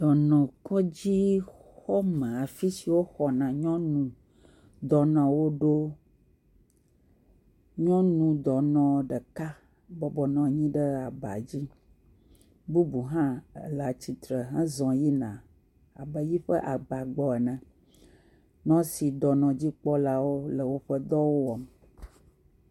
Dɔnɔkɔdzixɔme afi si woxɔna nyɔnu dɔnɔwo ɖo, nyɔnu dɔnɔ ɖeka bɔbɔnɔ anyi ɖe aba dzi, bubu hã le atsitre zɔ yina eƒe aba gbɔ ene, nɔsiwo le woƒe dɔ wɔm.